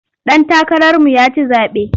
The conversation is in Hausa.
Ɗan takararmu ya ci zaɓe.